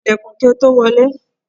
Kan ilẹ̀kùn kí o tó wọlé!